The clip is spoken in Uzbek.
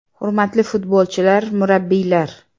Hurmatli futbolchilar, murabbiylar!